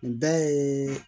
Nin bɛɛ ye